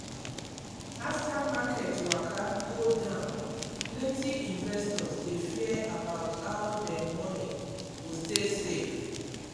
after market waka go down plenty investors dey fear about how dem money go stay safe.